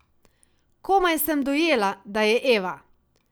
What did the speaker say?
Komaj sem dojela, da je Eva!